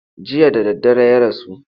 Jiya da daddare ya rasu.